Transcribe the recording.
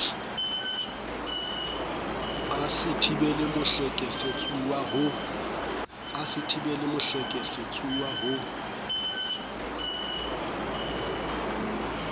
a se thibele mohlekefetsuwa ho